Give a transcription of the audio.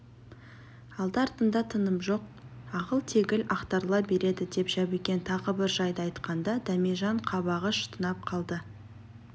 алды-артында тыным жоқ ағыл-тегіл ақтарыла береді деп жәбікен тағы бір жайды айтқанда дәмежан қабағы шытынап қалды